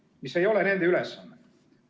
Aga see ei ole nende ülesanne.